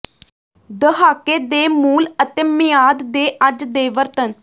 ਦਹਾਕੇ ਦੇ ਮੂਲ ਅਤੇ ਮਿਆਦ ਦੇ ਅੱਜ ਦੇ ਵਰਤਣ